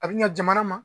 A bi ɲa jamana ma